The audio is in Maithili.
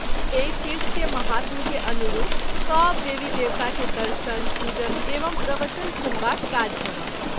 एहि तीर्थ के महात्म के अनुरूप सभ देवी देवता के दर्शन, पूजन एवं प्रवचन सुनबाक काज करब।